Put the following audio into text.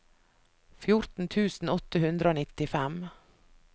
fjorten tusen åtte hundre og nittifem